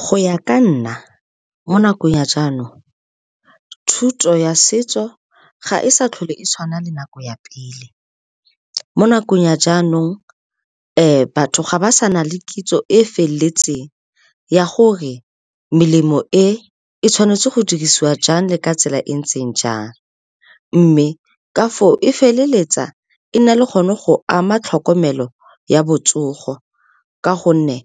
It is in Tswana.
Go ya ka nna, mo nakong ya jaanong, thuto ya setso ga e sa tlhole e tshwana le nako ya pele. Mo nakong ya jaanong, batho ga ba sa nna le kitso e e feleletseng ya gore melemo e e tshwanetse go dirisiwa jang le ka tsela e ntseng jang. Mme ka fo o e feleletsa e nna le gone go ama tlhokomelo ya botsogo, ka gonne